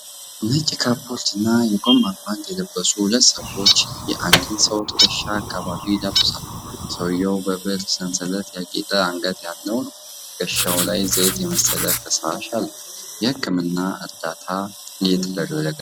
ነጭ ካፖርትና የጎማ ጓንት የለበሱ ሁለት ሰዎች የአንድን ሰው ትከሻ አካባቢ ይዳብሳሉ። ሰውየው በብር ሰንሰለት ያጌጠ አንገት ያለው ነው፣ ትከሻው ላይ ዘይት የመሰለ ፈሳሽ አለው። የሕክምና እርዳታ እየተደረገለት ነው።